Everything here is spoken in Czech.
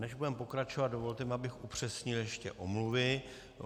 Než budeme pokračovat, dovolte mi, abych upřesnil ještě omluvy.